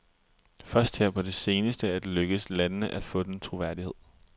Først her på det seneste er det lykkedes landene at få den troværdighed.